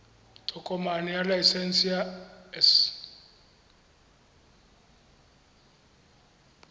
tokomane ya laesense ya s